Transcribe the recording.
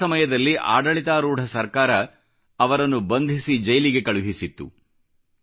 ಆ ಸಮಯದಲ್ಲಿ ಆಡಳಿತಾರೂಢ ಸರ್ಕಾರ ಅವರನ್ನು ಬಂಧಿಸಿ ಜೈಲಿಗೆ ಕಳುಹಿಸಿತ್ತು